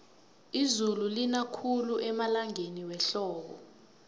izulu lina khulu emalangeni wehlobo